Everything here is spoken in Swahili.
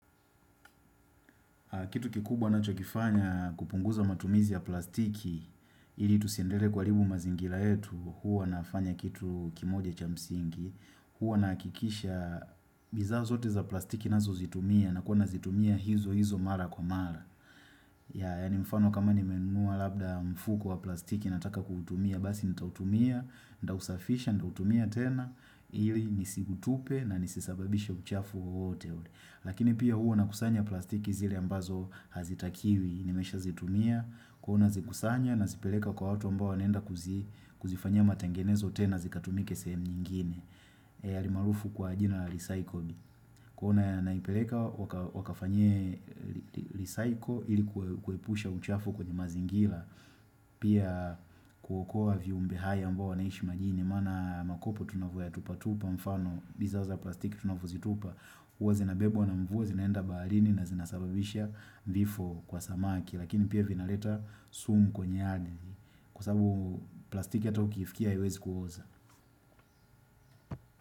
Kitu kikubwa nachokifanya kupunguza matumizi ya plastiki, ili tusiendelee kuha ribu mazingira yetu, huwa nafanya kitu kimoja cha msingi, huwa nahakikisha bidhaa zo zote za plastiki nazo zitumia na kuwa nazitumia hizo hizo mara kwa mara. Ya ni mfano kama ni menunua labda mfuko wa plastiki nataka kutumia, basi nitautumia, nita usafisha, nita utumia tena, ili nisiutupe na nisisababishe uchafu wowote. Lakini pia huwa na kusanya plastiki zile ambazo hazitakiwi nimesha zitumia huwa na zikusanya na zipeleka kwa watu ambao wanenda kuzifanyia matengenezo tena zikatumike sehemu nyingine Yalimaarufu kwa jina la risaiko Kuna naipeleka wakafanye risaiko ili kuepusha uchafu kwenye mazingira Pia kuokoa viumbe hai ambao wanaishi majini Maana makopo tunavyoya tupa tupa mfano bidhaa za plastiki tunavyozitupa hUwa zinabebwa na mvua zinaenda baharini na zinasababisha vifo kwa samaki Lakini pia vinaleta sumu kwenye ardhi Kwa sababu plastiki hata ukiifkia haiwezi kuoza.